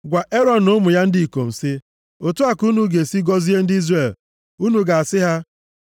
“Gwa Erọn na ụmụ ya ndị ikom sị, ‘Otu a ka unu ga-esi gọzie ndị Izrel. Unu ga-asị ha,